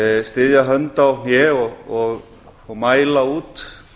styðja hönd á hné og mæla út